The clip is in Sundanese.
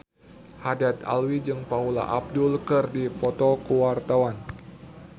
Haddad Alwi jeung Paula Abdul keur dipoto ku wartawan